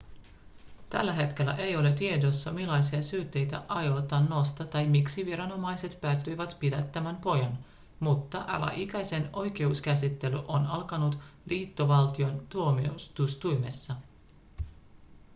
tällä hetkellä ei ole tiedossa millaisia syytteitä aiotaan nostaa tai miksi viranomaiset päätyivät pidättämään pojan mutta alaikäisen oikeuskäsittely on alkanut liittovaltion tuomioistuimessa